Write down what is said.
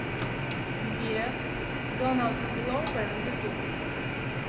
сбер доналд гловер ютуб